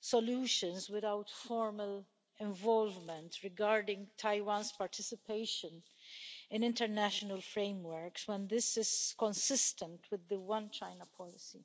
solutions without formal involvement regarding Taiwan's participation in international frameworks when this is consistent with the One-China policy.